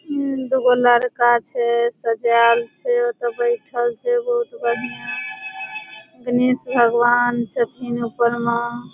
ई दुगो लड़का छे सज़ाएल छे। त बइठल छे बहुत बढ़िया। गणेश भगवान छे फिन ऊपर मा।